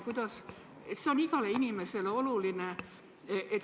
See on igale inimesele oluline.